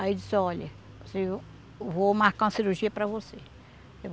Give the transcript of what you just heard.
Aí disse, olha, eu vou marcar uma cirurgia para você.